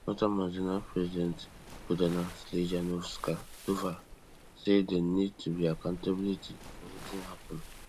northern mazina presdent gordana slijanovokanova say dey need to be accountability for wetin happen